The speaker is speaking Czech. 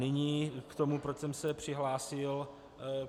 Nyní k tomu, proč jsem se přihlásil.